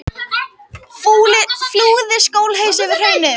Flúði skólaus yfir hraunið